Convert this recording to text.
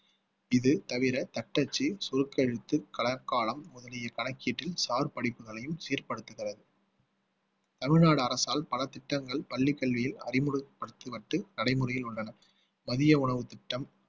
இது தவிர தட்டச்சு சுருக்கெழுத்து களக்காலம் முதலிய கணக்கீட்டில் சார் படிப்புகளையும் சீர்படுத்துகிறது தமிழ்நாடு அரசால் பல திட்டங்கள் பள்ளிக்கு கல்வியில் அறிமுகப்படுத்தப்பட்டு நடைமுறையில் உள்ளன மதிய உணவுத் திட்டம்